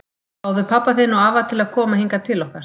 Fáðu pabba þinn og afa til að koma hingað til okkar!